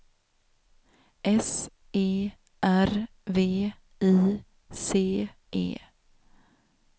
S E R V I C E